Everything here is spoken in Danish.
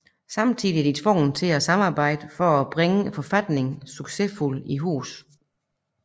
Samtidig er de tvunget til at samarbejde for at bringe forfatningen succesfuldt i hus